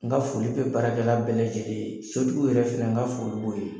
N ka foli bɛ baarakɛla bɛɛ lajɛlen ye, sotigiw yɛrɛ fana n ka foli b'o ye